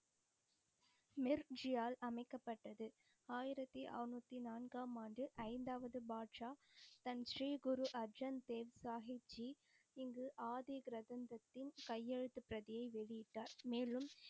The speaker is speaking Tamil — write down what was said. மிர் ஜி ஆல் அமைக்கப்பட்டது. ஆயிரத்தி அறநூத்தி நான்கமாண்டு ஐந்தாவது பாட்ஷா தன் ஸ்ரீ குரு அர்ஜென்தேவ் சாஹப் ஜி இங்கு ஆதி கிரந்தத்தின் கையெழுத்து பிரதியை வெளியிட்டார். மேலும்,